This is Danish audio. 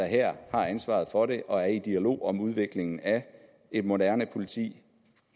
her har ansvaret for det og er i dialog om udviklingen af et moderne politi